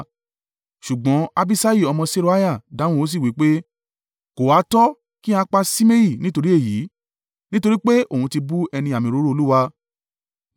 Ṣùgbọ́n Abiṣai ọmọ Seruiah dáhùn ó sì wí pé, “Kò ha tọ́ kí a pa Ṣimei nítorí èyí? Nítorí pé òun ti bú ẹni àmì òróró Olúwa.”